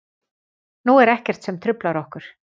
Nú er ekkert sem truflar okkur.